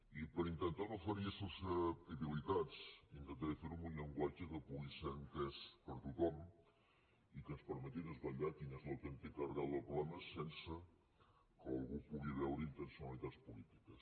i per intentar no ferir susceptibilitats intentaré fer ho amb un llenguatge que pugui ser entès per tothom i que ens permeti desvetllar quina és l’autèntica arrel del problema sense que algú pugui veure hi intencionalitats polítiques